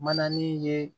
Mananin ye